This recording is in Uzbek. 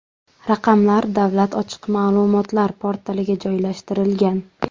Raqamlar Davlat ochiq ma’lumotlar portaliga joylashtirilgan.